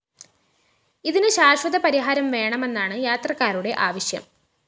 ഇതിന് ശാശ്വതപരിഹാരം വേണമെന്നാണ് യാത്രക്കാരുടെ ആവശ്യം